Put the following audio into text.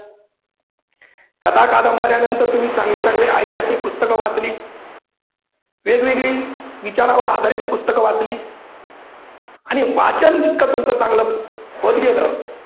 कथा कादंबऱ्या नंतर तुम्ही चांगले चांगले ऐतिहासिक पुस्तकं वाचली, वेगवेगळी विचारांवर आधारित पुस्तकं वाचली आणि वाचन जितकं तुमचं चांगल होत गेल